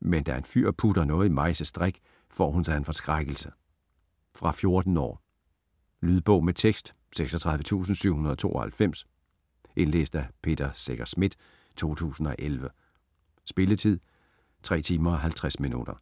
Men da en fyr putter noget i Majses drink, får hun sig en forskrækkelse. Fra 14 år. Lydbog med tekst 36792 Indlæst af Peter Secher Schmidt, 2011. Spilletid: 3 timer, 50 minutter.